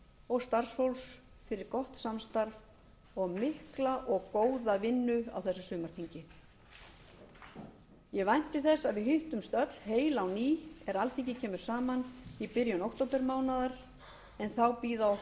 og starfsfólks fyrir gott samstarf og mikla og góða vinnu á þessu sumarþingi ég vænti þess að við hittumst öll heil á ný er alþingi kemur saman í byrjun októbermánaðar en þá bíða okkar